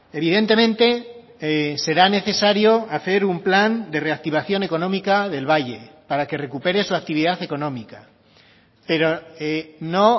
evidentemente será necesario hacer un plan de reactivación económica del valle para que recupere su actividad económica pero no